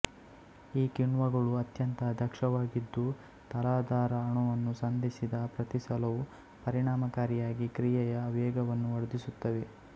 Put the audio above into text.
ಈ ಕಿಣ್ವಗಳು ಅತ್ಯಂತ ದಕ್ಷವಾಗಿದ್ದು ತಲಾಧಾರ ಅಣುವನ್ನು ಸಂಧಿಸಿದ ಪ್ರತಿಸಲವೂ ಪರಿಣಾಮಕಾರಿಯಾಗಿ ಕ್ರಿಯೆಯ ವೇಗವನ್ನು ವರ್ಧಿಸುತ್ತವೆ